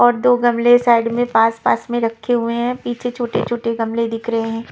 और दो गमले साइड में पास-पास में रखे हुए हैं पीछे छोटे-छोटे गमले दिख रहे हैं।